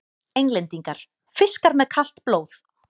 Englendingar: fiskar með kalt blóð!